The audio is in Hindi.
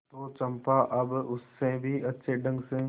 तो चंपा अब उससे भी अच्छे ढंग से